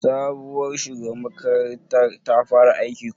Sabuwar shugabar makarantar ta fara aiki ko?